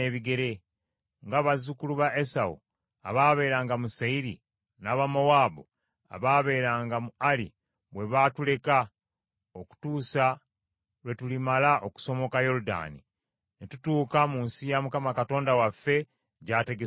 nga bazzukulu ba Esawu abaabeeranga mu Seyiri, n’Abamowaabu abaabeeranga mu Ali bwe baatuleka, okutuusa lwe tulimala okusomoka Yoludaani ne tutuuka mu nsi Mukama Katonda waffe gy’ategese okutuwa.”